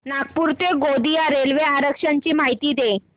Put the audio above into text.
नागपूर ते गोंदिया रेल्वे आरक्षण ची माहिती दे